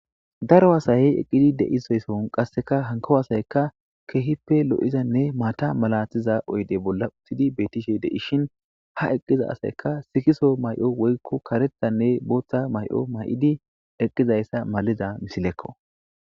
Daro asayey eqqidi deizaysohon qasseka hanko asayka keehippe lo7izanne maata malatiza oyde bolla uttyidi beetishe deishin ha eqqiza asayka sikiso may7o woykko karetanne booththa may7o may7idi eqqizayssa maliza misilekko.